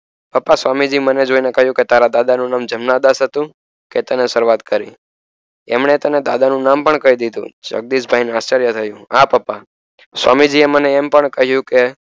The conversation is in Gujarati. પપ્પા સ્વામી જી મને જોય ને કહીંયુ કે તાર દાદા નું નામ જમનાદાસ હતું કેતને શરૂવાત કરી એમને તને દાદા નું નામ પણ કહી દીધું જગદીશ ભાઈ ને આશ્યર્ય થયું હા પપ્પા સ્વામી જીયે મને એમ પણ કહીંયુ